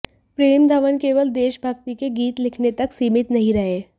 प्रेम धवन केवल देशभक्ति के गीत लिखने तक सीमित नहीं रहे